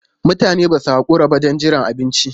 Mutanen ba su haƙura ba don jiran abinci.